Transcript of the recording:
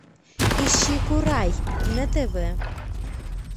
ищи курай на тв